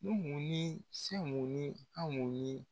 Nimu ni Semu ni Amu ni